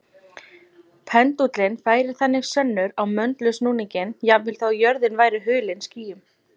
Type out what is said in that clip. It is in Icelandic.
Pendúllinn færir þannig sönnur á möndulsnúninginn jafnvel þó að jörðin væri hulin skýjum.